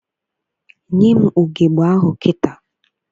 Nye m ugegbe ahụ kịta!